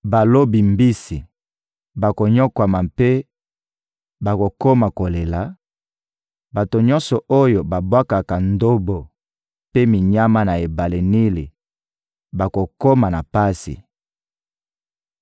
Balobi mbisi bakonyokwama mpe bakokoma kolela, bato nyonso oyo babwakaka ndobo mpe minyama na ebale Nili bakokoma na pasi.